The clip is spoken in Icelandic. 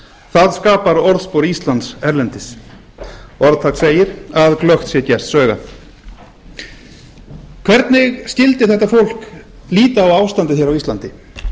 það skapar orðspor íslands erlendis og þar segir að glöggt sé gests augað hvernig skyldi þetta fólk líta á ástandið hér á íslandi